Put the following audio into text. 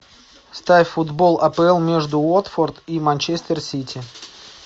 ставь футбол апл между уотфорд и манчестер сити